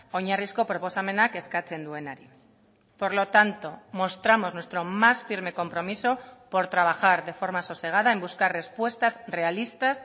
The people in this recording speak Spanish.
oinarrizko proposamenak eskatzen duenari por lo tanto mostramos nuestro más firme compromiso por trabajar de forma sosegada en buscar respuestas realistas